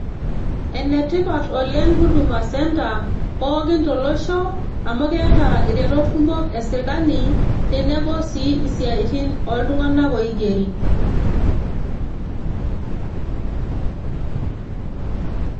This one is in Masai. Ene tipat oleng Huduma centre pookin tolosho amu keeta iretot kumok e sirkali tenebo sii isiatin pookin ooltunganak oigeri